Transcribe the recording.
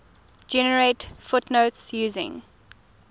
generate footnotes using